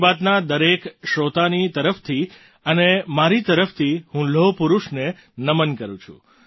મન કી બાતના દરેક શ્રોતાની તરફથી અને મારી તરફથી હું લોહપરુષને નમન કરું છું